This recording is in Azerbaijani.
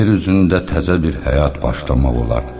Yer üzündə təzə bir həyat başlamaq olar.